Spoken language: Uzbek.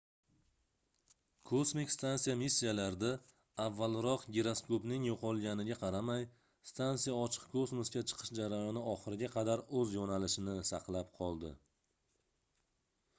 kosmik stansiya missiyasida avvalroq giroskopning yoʻqolganiga qaramay stansiya ochiq kosmosga chiqish jarayoni oxiriga qadar oʻz yoʻnalishini saqlab qoldi